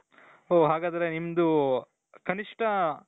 ಓ ಹಾಗಾದ್ರೆ ನಿಮ್ದು ಕನಿಷ್ಠ ?